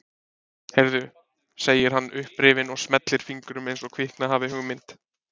Heyrðu, segir hann upprifinn og smellir fingrum eins og kviknað hafi hugmynd.